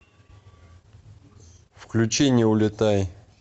включи не улетай